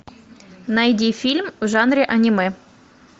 найди фильм в жанре аниме